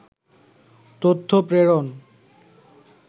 তথ্য প্রেরণ